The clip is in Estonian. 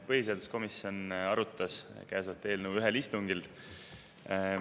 Põhiseaduskomisjon arutas käesolevat eelnõu ühel istungil.